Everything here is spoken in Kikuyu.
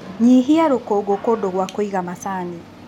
Nyihia rũkũngũ kũndũ gwa kũiga macani.